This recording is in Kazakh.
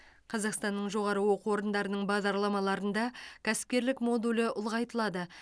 қазақстанның жоғары оқу орындарының бағдарламаларында кәсіпкерлік модулі ұлғайтылады